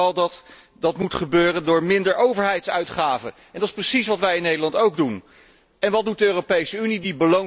Ik hoor vooral dat dat moet gebeuren door minder overheidsuitgaven en dat is precies wat wij in Nederland doen. En wat doet de Europese Unie?